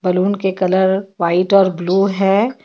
Balloon के colour white और blue है.